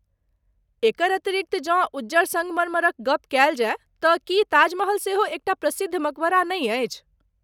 एकर अतिरिक्त जँ उज्जर सङ्गमरमरक गप कयल जाय तँ की ताजमहल सेहो एकटा प्रसिद्ध मकबरा नहि अछि?